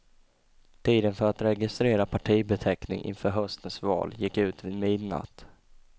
Tiden för att registrera partibeteckning inför höstens val gick ut vid midnatt.